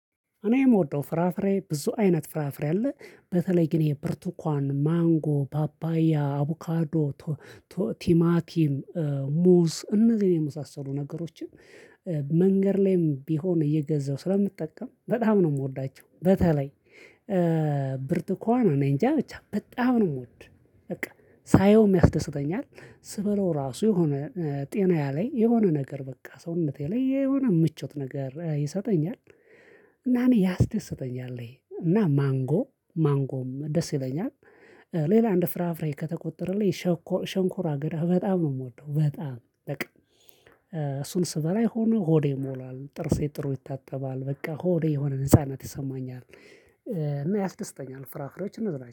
እኔ የምወደው ፍራፍሬ ብዙ አይነት ፍራፍሬ አለ በተለይ ይሄ ግን የብርቱኳን ማንጎ ፓፓያ አቡካዶ ቲማቲም ሙዝ እነዚህን የመሳሰሉ ነገሮችን መንገድ ላይም ቢሆን እየገዛሁ ስለምጠቀም በጣም ነው የምወዳቸው። በተለይ ብርቱካን ነው። እኔ እንጃ ብቻ በጣም ነው የምወድ በቃ ሳየውም የያስደስተኛል። ስበላው ራሱ የሆነ ጤና ላይ የሆነ ነገር በቃ ሰውነቴ ላይ የሆነ ምቾት ነገር ይሰጠኛል። እና እኔ ያስደስተኛል ይሄ እና ማንጎ ማንጎም ደስ ይለኛል። ሌላ እንደ ፍራፍሬ ከተቆጠረልኝ ሸንኮራ ግዳ በጣም ነው የምወደው። በጣም በቃ እሱን ስበላ የሆነ ሆዴ ይሞላል ጥርሴ ጥሩ ይታጠባል በቃ ሆዴ የሆነ ነጻነት ይሰማኛለህ እና ያስደስተኛል። ፍራፍሬዎች እነዚ